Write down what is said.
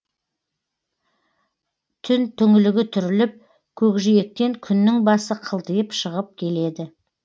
түн түңлігі түріліп көкжиектен күннің басы қылтиып шығып келеді